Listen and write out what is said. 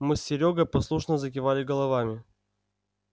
мы с серёгой послушно закивали головами